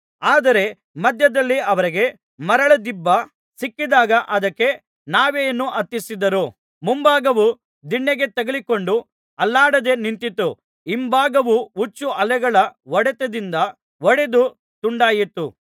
ಆದರೆ ಮಧ್ಯದಲ್ಲಿ ಅವರಿಗೆ ಮರಳದಿಬ್ಬ ಸಿಕ್ಕಿದಾಗ ಅದಕ್ಕೆ ನಾವೆಯನ್ನು ಹತ್ತಿಸಿದರು ಮುಂಭಾಗವು ದಿಣ್ಣೆಗೆ ತಗಲಿಕೊಂಡು ಅಲ್ಲಾಡದೆ ನಿಂತಿತು ಹಿಂಭಾಗವು ಹುಚ್ಚು ಅಲೆಗಳ ಹೊಡೆತದಿಂದ ಒಡೆದು ತುಂಡಾಯಿತು